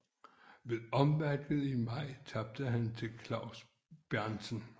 Ved omvalget i maj tabte han til Klaus Berntsen